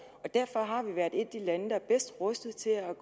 og derfor har vi været et af de lande der er bedst rustet til at